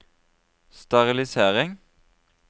sterilisering